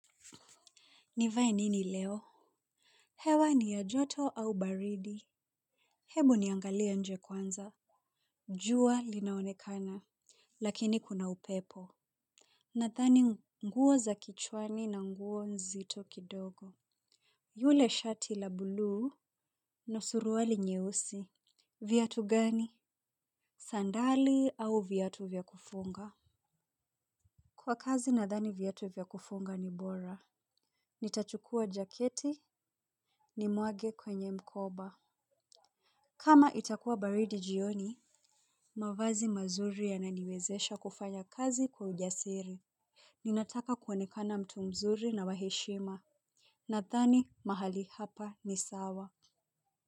Nivae nini leo? Hewa ni ya joto au baridi. Hebu niangalie nje kwanza. Jua linaonekana. Lakini kuna upepo. Nadhani nguo za kichwani na nguo nzito kidogo. Yule shati la buluu na suruali nyeusi. Viatu gani? Sandali au viatu vya kufunga? Kwa kazi nadhani viatu vya kufunga ni bora. Nitachukua jaketi ni mwage kwenye mkoba. Kama itakuwa baridi jioni, mavazi mazuri yananiwezesha kufanya kazi kwa ujasiri. Ninataka kuonekana mtu mzuri na wa heshima, nadhani mahali hapa ni sawa.